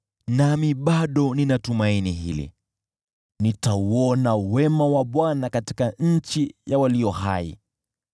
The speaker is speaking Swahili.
Nami bado nina tumaini hili: nitauona wema wa Bwana katika nchi ya walio hai.